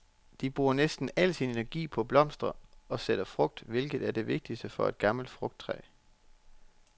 Det bruger næsten al sin energi på at blomstre og sætte frugt, hvilket er det vigtigste for et gammelt frugttræ.